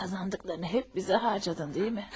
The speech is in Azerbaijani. Qazandıqlarını hep bizə harcadın, deyilmi?